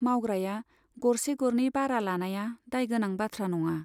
मावग्राया गरसे गरनै बारा लानाया दाय गोनां बाथ्रा नङा।